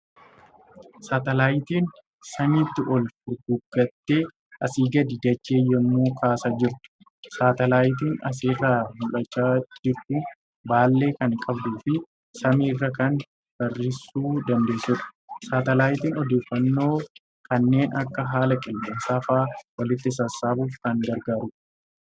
Saatalaayitiin samiitti ol furguggaattee asii gadi dachee yemmuu kaasaa jirtu. Saatalaayitiin as irraa mul'achaa jirtu baallee kan qabduu fi samii irra kan barrisuu dandeessuudha. Saatalaayitiin odeeffannoo kanneen akka haala qilleensaa fa'a walitti sassaabuuf kan gargaarudha.